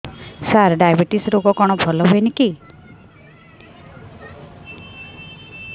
ସାର diabetes ରୋଗ କଣ ଭଲ ହୁଏନି କି